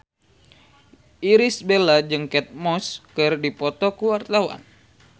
Irish Bella jeung Kate Moss keur dipoto ku wartawan